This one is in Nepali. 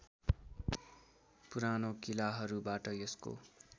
पुरानो किलाहरूबाट यसको